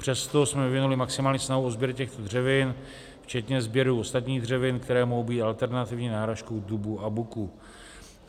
Přesto jsme vyvinuli maximální snahu o sběr těchto dřevin včetně sběru ostatních dřevin, které mohou být alternativní náhražkou dubu a buku.